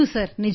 ಹೌದು ಸರ್